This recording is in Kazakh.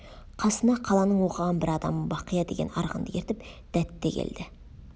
қасына қаланың оқыған бір адамы бақия деген арғынды ертіп дәт те келді